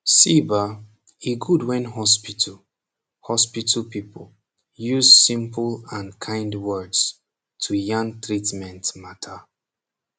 see bah e gud wen hospital hospital people use simple and kind words to yan treatment mata